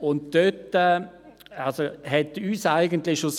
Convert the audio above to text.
Dabei machte uns eigentlich schon